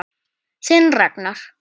Þinn Ragnar.